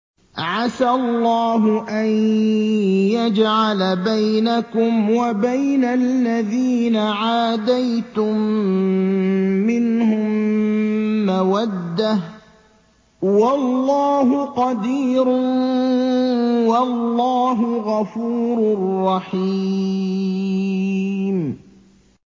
۞ عَسَى اللَّهُ أَن يَجْعَلَ بَيْنَكُمْ وَبَيْنَ الَّذِينَ عَادَيْتُم مِّنْهُم مَّوَدَّةً ۚ وَاللَّهُ قَدِيرٌ ۚ وَاللَّهُ غَفُورٌ رَّحِيمٌ